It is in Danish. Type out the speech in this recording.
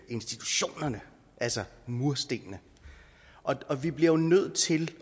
institutionerne altså murstenene og vi bliver jo nødt til